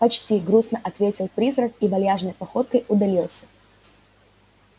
почти грустно ответил призрак и вальяжной походкой удалился